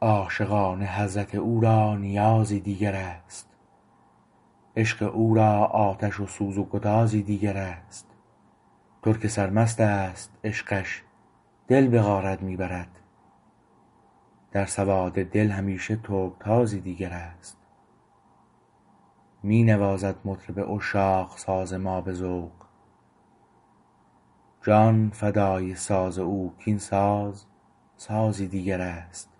عاشقان حضرت او را نیازی دیگر است عشق او را آتش و سوز و گدازی دیگر است ترک سرمست است عشقش دل به غارت می برد در سواد دل همیشه ترکتازی دیگر است می نوازد مطرب عشاق ساز ما به ذوق جان فدای ساز او کاین ساز سازی دیگر است